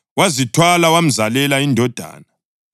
wazithwala wamzalela indodana.